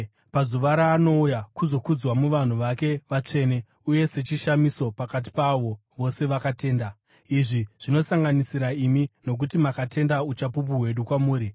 pazuva raanouya kuzokudzwa muvanhu vake vatsvene uye sechishamiso pakati paavo vose vakatenda. Izvi zvinosanganisira imi, nokuti makatenda uchapupu hwedu kwamuri.